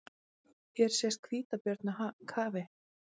Hér sést hvítabjörn í kafi.